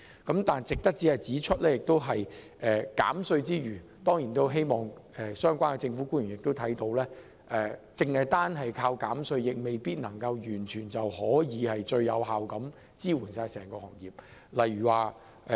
然而，同時值得指出的是，我們當然希望相關政府官員察覺到，單靠減稅未必能完全有效支援整個行業。